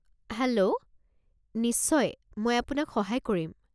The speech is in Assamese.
হেল্ল', নিশ্চয়, মই আপোনাক সহায় কৰিম।